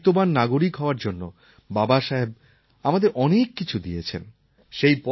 দেশের দায়িত্ববান নাগরিক হওয়ার জন্য বাবাসাহেব আমাদের অনেক কিছু দিয়েছেন